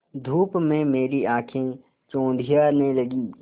धूप में मेरी आँखें चौंधियाने लगीं